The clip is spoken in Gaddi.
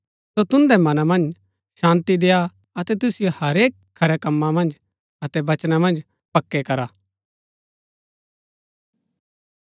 सो तुन्दै मनां मन्ज शान्ती देय्आ अतै तुसिओ हरेक खरै कमां मन्ज अतै वचना मन्ज पक्कै करा